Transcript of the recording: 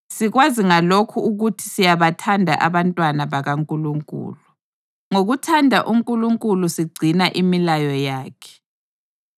Sikwazi ngalokhu ukuthi siyabathanda abantwana bakaNkulunkulu: ngokuthanda uNkulunkulu sigcina imilayo yakhe.